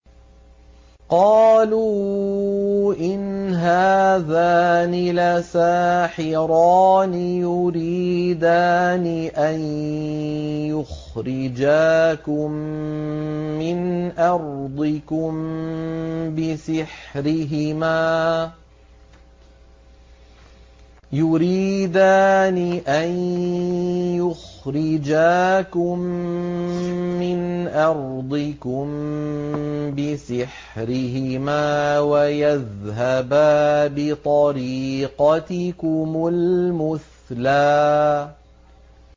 قَالُوا إِنْ هَٰذَانِ لَسَاحِرَانِ يُرِيدَانِ أَن يُخْرِجَاكُم مِّنْ أَرْضِكُم بِسِحْرِهِمَا وَيَذْهَبَا بِطَرِيقَتِكُمُ الْمُثْلَىٰ